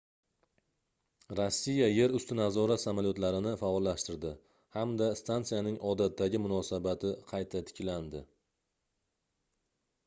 rossiya yer usti nazorati samolyotlarni faollashtirdi hamda stansiyaning odatdagi munosabati qayta tiklandi